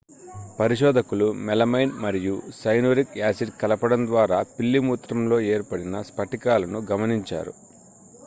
పరిశోధకులు మెలమైన్ మరియు cyanuric acid కలపడం ద్వారా పిల్లి మూత్రంలో ఏర్పడిన స్పటికాలను గమనించారు